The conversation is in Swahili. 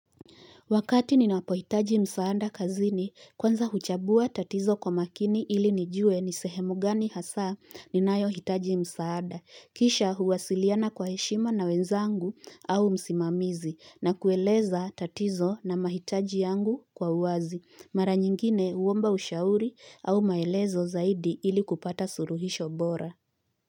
Wakati ninapo hitaji msaada kazini, kwanza huchabua tatizo kwa makini ili nijue nisehemu gani hasa ninayo hitaji msaada. Kisha huwasiliana kwa heshima na wenzangu au msimamizi na kueleza tatizo na mahitaji yangu kwa uwazi. Mara nyingine huomba ushauri au maelezo zaidi ili kupata suluhisho bora.